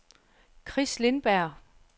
Chris Lindberg